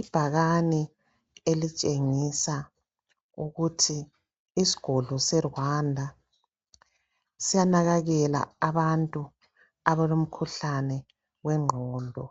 Ibhakane elitshengisa ukuthi isigodlo seRwanda siyanakekela abantu abalomkhuhlane wengqondo.